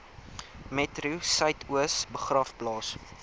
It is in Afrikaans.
metro suidoos begraafplaas